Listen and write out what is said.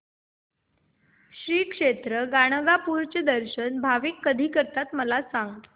श्री क्षेत्र गाणगापूर चे दर्शन भाविक कधी करतात मला सांग